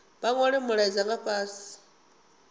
vha nwale mulaedza fhasi nga